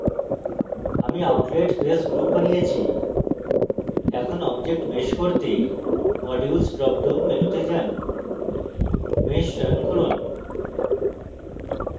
আমি outlet face group বানিয়েছি এখন object mesh করতে modules drop down মেনুতে যান mesh চয়ন করুন